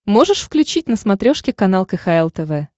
можешь включить на смотрешке канал кхл тв